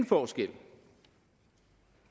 forskel